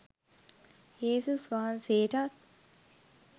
යේසුස් වහන්සේටත්